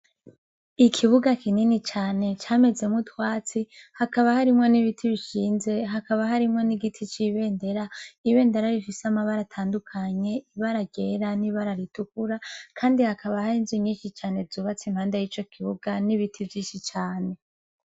Ikibuga kinini cane camezemu twatsi hakaba harimwo n'ibiti bishinze hakaba harimwo n'igiti c'ibendera ibendera rifise amabara atandukanye ibaragera n'ibararitukura, kandi hakaba harinzu nyinshi cane zubatse impanda y'ico kibuga n'ibiti vyishi cane.